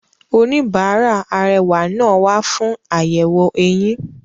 Oníbàárà arẹwà náà wa fún àyẹ̀wò eyín.